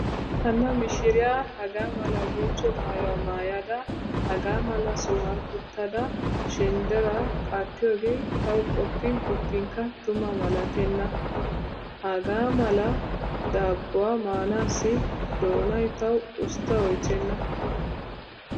Hanna mishiriya hagaa mala bonchcho maayuwa maayada hagaa mala sohuwan uttada shendderaa qaattiyooge tawu qoppin qoppinkka tuma malatenna. Hagaa mala daabbuwa maanaassi doonay tawu usttaa oychchenna.